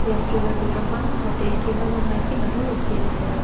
Restaurant ৰ gate ৰ সন্মুখতে কেইজনমান মাইকী মানুহ ৰাখি আছে।